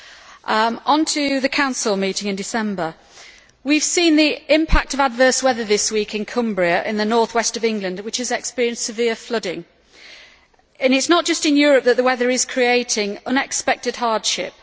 Regarding the Council meeting in December, we have seen the impact of adverse weather this week in Cumbria in the north west of England, which has experienced severe flooding, and it is not just in Europe that the weather is creating unexpected hardship.